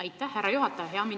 Aitäh, härra juhataja!